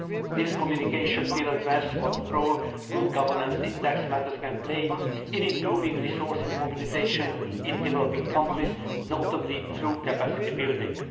This communication will address what role good governance in tax matters can play in improving resources mobilisation in developing countries, notably through capacity building.